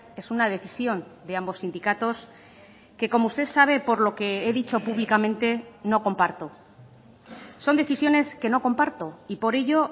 es una decisión de ambos sindicatos que como usted sabe por lo que he dicho públicamente no comparto son decisiones que no comparto y por ello